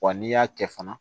Wa n'i y'a kɛ fana